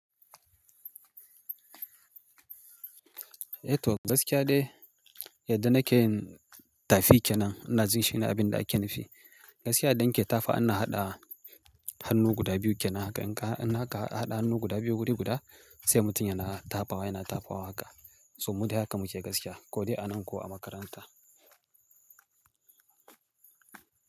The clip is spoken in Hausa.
Eh toh, gaskiya dai yadda nake yin tafi kenan, ina jin shi ne abin da ake nufi. Gaskiya idan ke tafa inna haɗa hannu guda biyu kenan haka. In ka, in haka ka haɗa hannu guda biyu wuri guda, sai mutum yana tafawa yana tafawa haka. To mu dai haka muke gaskiya, ko dai a nan ko a makaranta.